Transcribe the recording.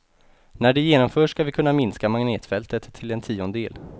När det genomförs ska vi kunna minska magnetfältet till en tiondel.